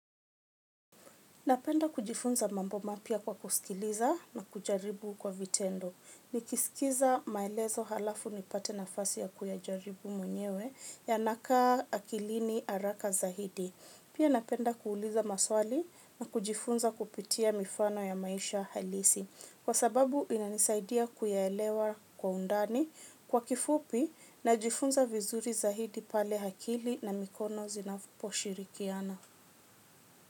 Napenda kujifunza mambo mapya kwa kusikiliza na kujaribu kwa vitendo. Nikisikiza maelezo halafu nipate nafasi ya kuyajaribu mwenyewe yanakaa akilini haraka zaidi. Pia napenda kuuliza maswali na kujifunza kupitia mifano ya maisha halisi. Kwa sababu inanisaidia kuyaelewa kwa undani kwa kifupi najifunza vizuri zaidi pale akili na mikono zinapo shirikiana.